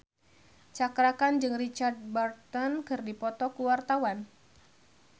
Cakra Khan jeung Richard Burton keur dipoto ku wartawan